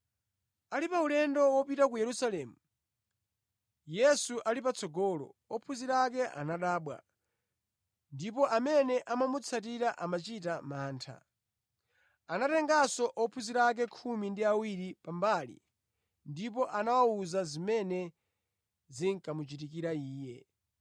Ali pa ulendo wawo wopita ku Yerusalemu, Yesu ali patsogolo, ophunzira ake anadabwa, ndipo amene amamutsatira amachita mantha. Anatenganso ophunzira ake khumi ndi awiri pa mbali ndipo anawawuza zimene zikamuchitikire Iye.